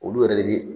Olu yɛrɛ de bi